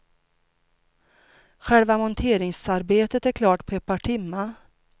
Själva monteringsarbetet är klart på ett par timmar.